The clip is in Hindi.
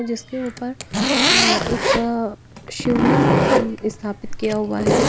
जिसके ऊपर एक शिवलिंग स्थापित किया हुआ है।